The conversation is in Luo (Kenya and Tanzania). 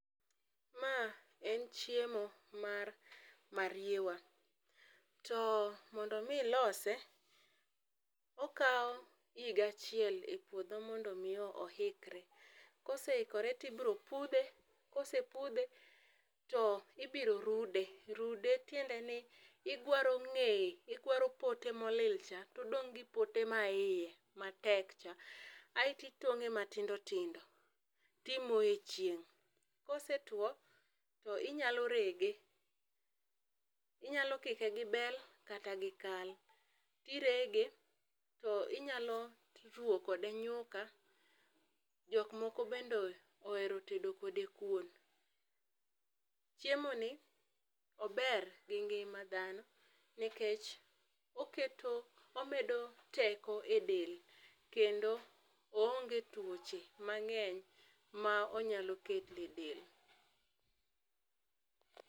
Ma en chiemo mar mariewa to mondo mi ilose okawo higa achiel e puodho mondo mi oikre .Koseikore to ibiro pudhe ka osepudhe to ibiro rude, rude tiende ni igwaro ng'eye, gwaro pote ma olil cha to odong gi pote ma iye ma tek cha aito itong'e matindo tindo.ti imoyo e chieng' kosetwo ti inyalo rege. Inyalo kike gi bel kata gi kal, to irege to inyalo ruwo kode nyuka jo moko be ohero tedo kode kuon. Chiemo ni ober gi ngima dhano ,nikech oketo omedo teko e del kendo oonge twoche mang'eny ma onyalo keto e del.